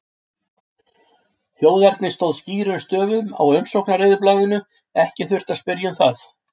Þjóðernið stóð skýrum stöfum á umsóknareyðublaðinu, ekki þurfti að spyrja um það.